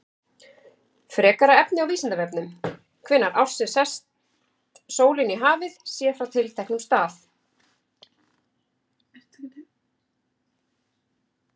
Frekara efni á Vísindavefnum: Hvenær ársins sest sólin í hafið, séð frá tilteknum stað?